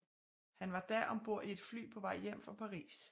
Hun var da om bord i et fly på vej hjem fra Paris